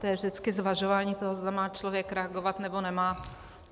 To je vždycky zvažování toho, zda má člověk reagovat, nebo nemá.